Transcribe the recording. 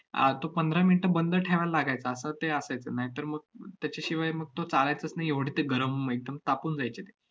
आह तो पंधरा minutes बंद ठेवायला लागायचा, असं ते असायचं. नाहीतर मग अह त्याच्याशिवाय मग तो चाळायचाच नाही एवढं ते गरम एकदम तापून जायचे ते.